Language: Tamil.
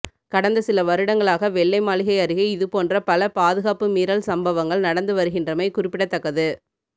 கடந்த சில வருடங்களாக வெள்ளை மாளிகை அருகே இது போன்ற பல பாதுகாப்பு மீறல் சம்பவங்கள் நடந்து வருகின்றமை குறிப்பிடத்தக்கது